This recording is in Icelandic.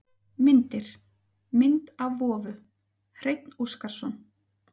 Myndir: Mynd af vofu: Hreinn Óskarsson.